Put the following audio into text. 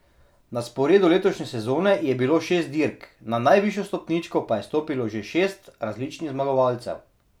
Na sporedu letošnje sezone je bilo šest dirk, na najvišjo stopničko pa je stopilo že šest različnih zmagovalcev.